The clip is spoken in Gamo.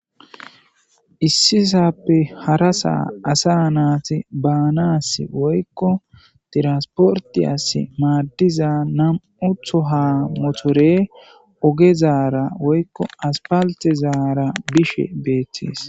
Issisaappe harasa asanaati baanaassi woykko tranispporttiyaasi maaddiza nam77u toha motore ogezaara woykko asfaltezaara bishe beettees.